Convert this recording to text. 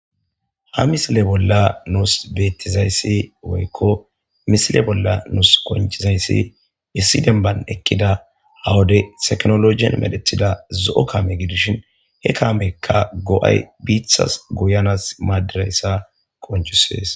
ha misile bolla nuus beettizayssi woykko misile bolla nuus konchizayssi issi denban ekkida hawude teknologien medethida zo7o kaame gidishin he kaamekka go7ay biithas guyanas maadirayssa konchusees